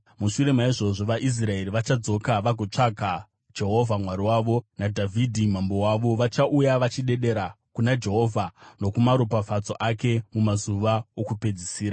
Mushure maizvozvo vaIsraeri vachadzoka vagotsvaka Jehovha Mwari wavo naDhavhidhi mambo wavo. Vachauya vachidedera kuna Jehovha nokumaropafadzo ake mumazuva okupedzisira.